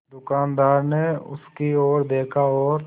दुकानदार ने उसकी ओर देखा और